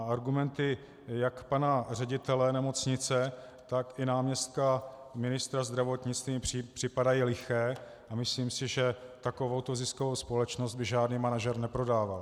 A argumenty jak pana ředitele nemocnice, tak i náměstka ministra zdravotnictví mi připadají liché a myslím si, že takovouto ziskovou společnost by žádný manažer neprodával.